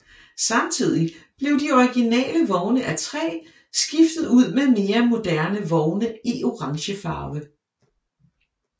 Samtidig blev de originale vogne af træ skiftet ud med mere moderne vogne i orangefarve